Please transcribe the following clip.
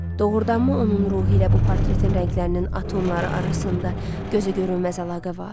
Doğurdanmı onun ruhu ilə bu portretin rənglərinin atomları arasında gözə görünməz əlaqə var?